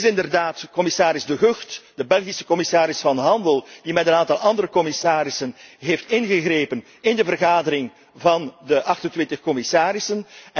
Het is inderdaad commissaris De Gucht, de Belgische commissaris van Handel, die met een aantal andere commissarissen heeft ingegrepen in de vergadering van de 28 commissarissen.